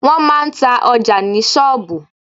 Wọ́n máa ń ta ọjà ní sọ́ọ̀bù.